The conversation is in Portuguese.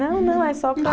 Não, não, é só para